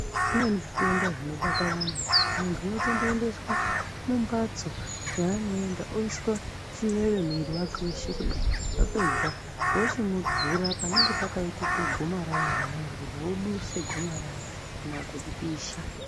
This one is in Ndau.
Zvimweni zvitenda zvinobata vanhu, muntu unotomboendeswa mumphatso yaanoenda oiswa, chiveve mwiiri weshe kudai, vapedza vochimuvhura panenge panenge pakaite gomarara rona iroro, voduse gomarara, kana kuripisha.